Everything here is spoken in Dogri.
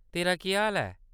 तेरा केह् हाल ऐ ?